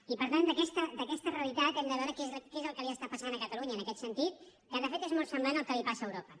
i per tant d’aquesta realitat hem de veure què és el que li està passant a catalunya en aquest sentit que de fet és molt semblant al que li passa a europa